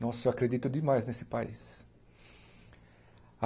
Nossa, eu acredito demais nesse país.